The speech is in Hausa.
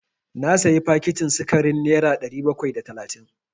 Na sayi fakitin sikarin nera ɗari bakwai da talatin.